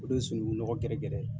O de ye sunugunɔgɔ gɛrɛ gɛrɛ ye.